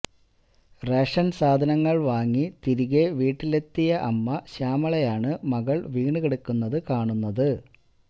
ration സാധനങ്ങള് വാങ്ങി തിരികെ വീട്ടില് എത്തിയ അമ്മ ശ്യാമളയാണ് മകള് വീണുകിടക്കുന്നത് കാണുന്നത്